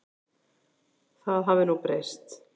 Það hafi nú breyst.